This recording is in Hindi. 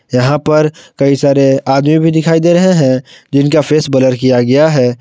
यहां पर कई सारे आदमी भी दिखाई दे रहे हैं जिनका फेस ब्लर किया गया है।